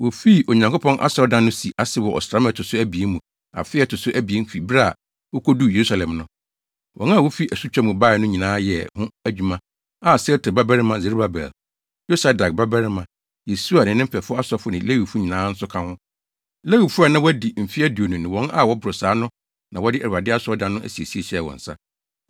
Wofii Onyankopɔn asɔredan no si ase wɔ ɔsram a ɛto so abien mu afe a ɛto so abien fi bere a wokoduu Yerusalem no. Wɔn a wofi asutwa mu bae no nyinaa yɛɛ ho adwumayɛfo a Sealtiel babarima Serubabel, Yosadak babarima Yesua ne ne mfɛfo asɔfo ne Lewifo nyinaa nso ka ho. Lewifo a na wɔadi mfe aduonu ne wɔn a wɔboro saa no na wɔde Awurade asɔredan no asiesie hyɛɛ wɔn nsa.